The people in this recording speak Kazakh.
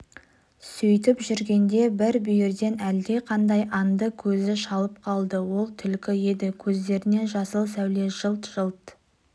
сөйтіп жүргенде бір бүйірден әлдеқандай аңды көзі шалып қалды ол түлкі еді көздерінен жасыл сәуле жылт-жылт